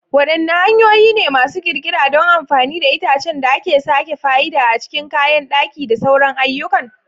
Wadanne hanyoyi ne masu kirkira don amfani da itacen da aka sake fa'ida a cikin kayan daki da sauran ayyukan?